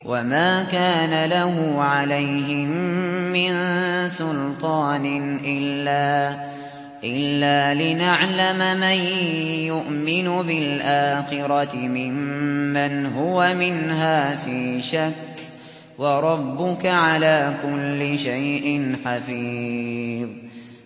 وَمَا كَانَ لَهُ عَلَيْهِم مِّن سُلْطَانٍ إِلَّا لِنَعْلَمَ مَن يُؤْمِنُ بِالْآخِرَةِ مِمَّنْ هُوَ مِنْهَا فِي شَكٍّ ۗ وَرَبُّكَ عَلَىٰ كُلِّ شَيْءٍ حَفِيظٌ